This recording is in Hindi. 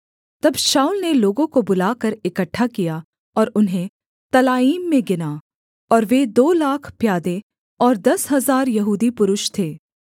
तब शाऊल ने लोगों को बुलाकर इकट्ठा किया और उन्हें तलाईम में गिना और वे दो लाख प्यादे और दस हजार यहूदी पुरुष थे